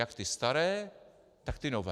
Jak ty staré, tak ty nové.